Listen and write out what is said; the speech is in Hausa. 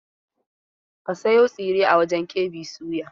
Ka sayo tsiren a wajen KB soya!